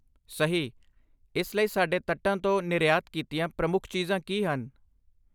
ਸਹੀ! ਇਸ ਲਈ ਸਾਡੇ ਤੱਟਾਂ ਤੋਂ ਨਿਰਯਾਤ ਕੀਤੀਆਂ ਪ੍ਰਮੁੱਖ ਚੀਜ਼ਾਂ ਕੀ ਹਨ?